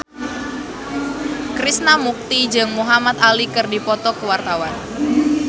Krishna Mukti jeung Muhamad Ali keur dipoto ku wartawan